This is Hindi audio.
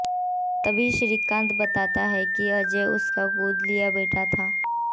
तभी श्रीकांत बताता है कि अजय उसका गोद लिया बेटा था